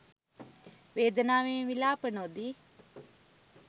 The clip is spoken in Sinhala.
වේදනාවෙන් විලාප නොදී